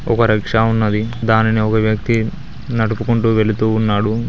ఒక రిక్షా ఉన్నది దానిని ఒక వ్యక్తి నడుపుకుంటు వెళ్తూ ఉన్నాడు.